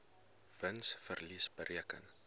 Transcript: wins verlies bereken